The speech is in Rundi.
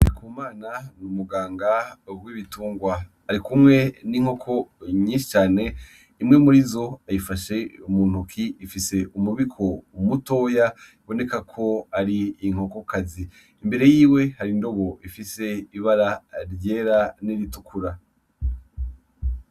Ku mana niumuganga kwibitungwa ari kumwe n'inkoko nyishicane imwe muri zo ayifashe umuntoki ifise umubiko umutoya iboneka ko ari inkokokazi imbere yiwe hari indobo ifise ibara ryera n'iritukura.